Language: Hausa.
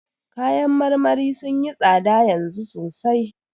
Kayan marmarin sun yi tsada yanzu sosai.